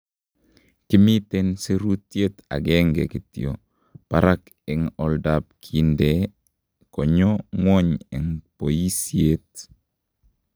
Kimiten sirutyet agenge kityo barak en oldap kindee konyoo ngwony en boyisyeet.